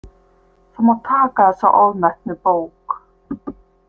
Þú mátt taka þessa ofmetnu bók.